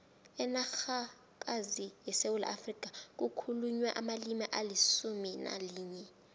enarhakazini yesewula afrika kukhulunywa amalimi alisumu nalinye